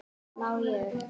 Má ég?